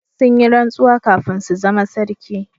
Sun yi rantsuwa kafin su zama sarki